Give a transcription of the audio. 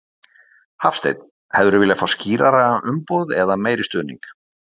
Hafsteinn: Hefðir þú viljað fá skýrari umboð eða meiri stuðning?